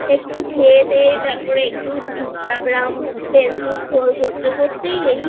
একটু খেয়ে দিয়ে তারপর একটু Instagram Facebook স্ক্রল করতে করতেই